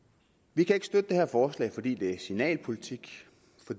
vi kan ikke støtte det her forslag fordi det er signalpolitik